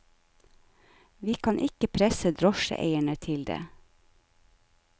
Vi kan ikke presse drosjeeierne til det.